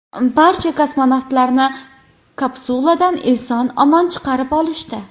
Barcha kosmonavtlarni kapsuladan eson-omon chiqarib olishdi.